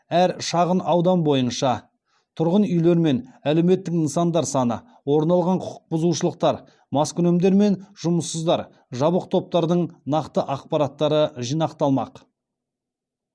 әр шағынаудан бойынша тұрғын үйлермен әлеуметтік нысандар саны орын алған құқықбұзушылықтар маскүнемдер мен жұмыссыздар жабық топтардың нақты ақпараттары жинақталмақ